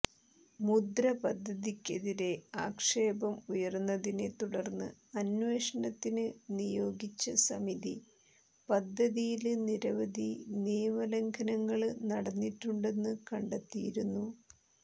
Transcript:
മുന്ദ്ര പദ്ധതിക്കെതിരെ ആക്ഷേപം ഉയര്ന്നതിനെ തുടര്ന്ന് അന്വേഷണത്തിന് നിയോഗിച്ച സമിതി പദ്ധതിയില് നിരവധി നിയമലംഘനങ്ങള് നടന്നിട്ടുണ്ടെന്ന് കണ്ടെത്തിയിരുന്നു